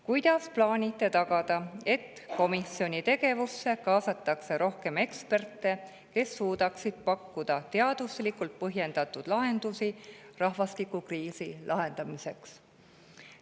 Kuidas plaanite tagada, et komisjoni tegevusse kaasatakse rohkem eksperte, kes suudaksid pakkuda teaduslikult põhjendatud lahendusi rahvastikukriisi lahendamiseks?